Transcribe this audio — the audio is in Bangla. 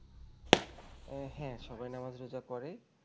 আহ হ্যাঁ সবাই নামাজ রোজা করে